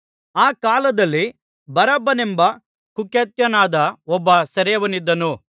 ಆ ಕಾಲದಲ್ಲಿ ಬರಬ್ಬನೆಂಬ ಕುಖ್ಯಾತನಾದ ಒಬ್ಬ ಸೆರೆಯವನಿದ್ದನು